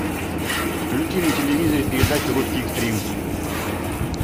включи на телевизоре передачу русский экстрим